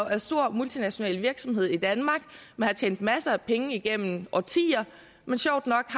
er en stor multinational virksomhed i danmark man har tjent masser af penge igennem årtier sjovt nok